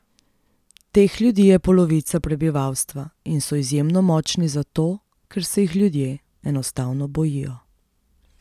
Teh ljudi je polovica prebivalstva in so izjemno močni zato, ker se jih ljudje enostavno bojijo.